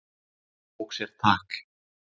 Tók sér tak.